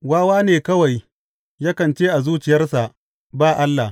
Wawa ne kawai yakan ce a zuciyarsa, Ba Allah.